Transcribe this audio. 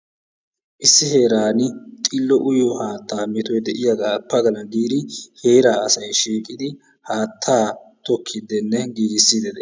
Issi heeran xillo uyiyoo haattaa metoy diyaagaa pagalana giidi heeraa asay shiiqqidi haattaa tookkidinne giigisiidi de'ees.